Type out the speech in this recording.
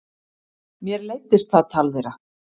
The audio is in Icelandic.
Mér leiddist það tal þeirra.